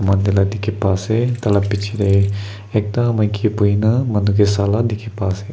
mati lah dikhi pa ase tah la picche teh ekta maiki bohi na manu ke sha la dikhi pai ase.